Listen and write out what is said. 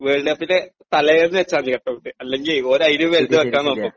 World കപ്പിന്റെ തലേന്ന് വച്ചാ മതി കട്ട് ഔട്ട് അല്ലെങ്കി ഓര് അതിലും വലുത് വയ്ക്കാൻ നോക്കും .